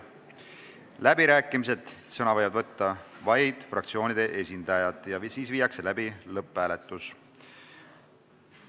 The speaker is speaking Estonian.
Siis on läbirääkimised, kus sõna võivad võtta vaid fraktsioonide esindajad, ja lõpphääletus.